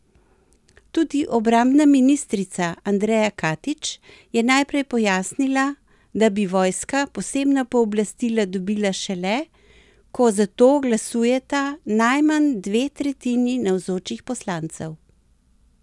Tudi obrambna ministrica Andreja Katič je najprej pojasnila, da bi vojska posebna pooblastila dobila šele, ko za to glasujeta najmanj dve tretjini navzočih poslancev.